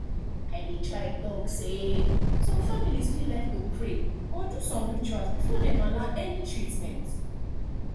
i dey talk say some families fit like to pray or do some rituals before dem allow any treatment